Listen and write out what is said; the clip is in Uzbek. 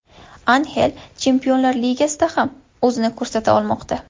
Anxel Chempionlar Ligasida ham o‘zini ko‘rsata olmoqda.